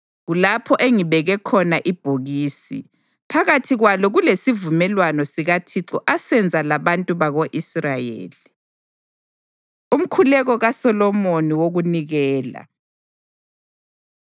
Kulapho engibeke khona ibhokisi, phakathi kwalo kulesivumelwano sikaThixo asenza labantu bako-Israyeli.” Umkhuleko KaSolomoni WokuNikela